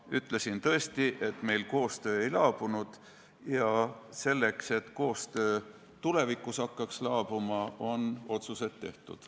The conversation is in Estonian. Ma ütlesin tõesti, et meil koostöö ei laabunud, ja selleks, et koostöö tulevikus hakkaks laabuma, on otsused tehtud.